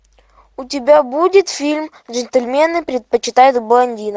у тебя будет фильм джентльмены предпочитают блондинок